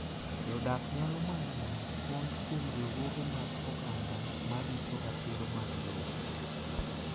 Jodak nyalo manyo kony kuom riwruoge mag oganda ma rito ratiro mag lope.